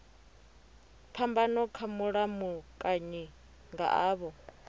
phambano kha mulamukanyi nga avho